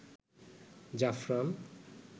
জাফরান